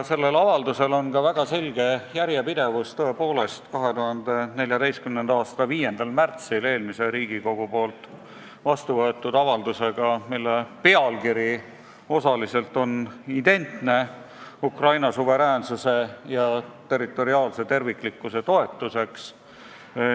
Sellel avaldusel on ka väga selge järjepidev seos 2014. aasta 5. märtsil eelmises Riigikogus vastu võetud avaldusega, mille pealkiri on osaliselt identne: "Ukraina suveräänsuse ja territoriaalse terviklikkuse toetuseks".